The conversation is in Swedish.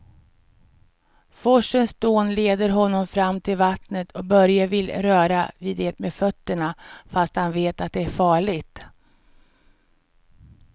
Forsens dån leder honom fram till vattnet och Börje vill röra vid det med fötterna, fast han vet att det är farligt.